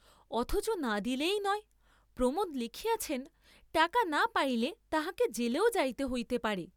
অথচ না দিলেই নয়, প্রমোদ লিখিয়াছেন টাকা না পাইলে তাঁহাকে জেলেও যাইতে হইতে পারে।